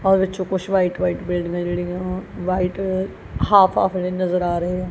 ਉਹਦੇ ਵਿੱਚੋਂ ਕੁਛ ਵਾਈਟ ਵਾਈਟ ਬਿਲਡਿੰਗਾਂ ਜਿਹੜੀਆਂ ਵਾਈਟ ਹਾਫ ਹਾਫ ਨਜ਼ਰ ਆ ਰਹੀਆਂ।